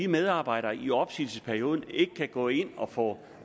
medarbejderne i opsigelsesperioden ikke kan gå ind og få